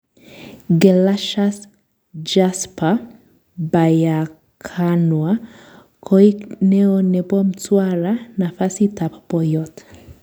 Gelasius Gasper Byakanwa koik neo nepo Mtwara, nafasitab poiyot